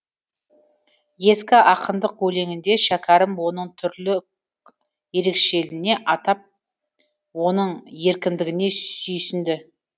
ескі ақындық өлеңінде шәкәрім оның түрлік ерекшелігіне атап оның еркіндігіне сүйсінді